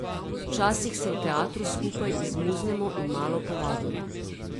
Včasih se v teatru skupaj izmuznemo in malo povadimo.